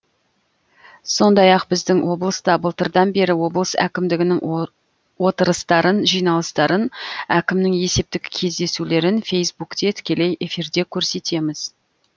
сондай ақ біздің облыста былтырдан бері облыс әкімдігінің отырыстарын жиналыстарын әкімнің есептік кездесулерін фейсбукте тікелей эфирде көрсетеміз